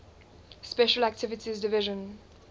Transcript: special activities division